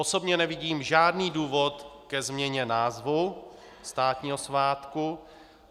Osobně nevidím žádný důvod ke změně názvu státního svátku.